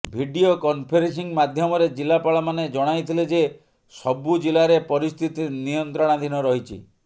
video conferencing ମାଧ୍ୟମରେ ଜିଲ୍ଲାପାଳମାନେ ଜଣାଇଥିଲେ ଯେ ସବୁ ଜିଲ୍ଲାରେ ପରିସ୍ଥିତି ନିୟନ୍ତ୍ରଣାଧୀନ ରହିଛି